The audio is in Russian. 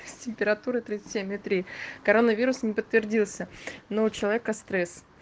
с температура тридцать семь и три коронавирус не подтвердился но у человека стресс